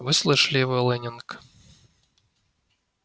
вы слышали его лэннинг